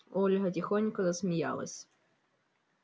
ольга тихонько засмеялась